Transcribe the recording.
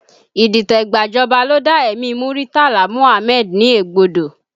Idite gba ìjọba ló dá ẹ̀mí Muritala Muhammad ní egbodo